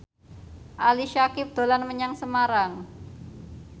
Ali Syakieb dolan menyang Semarang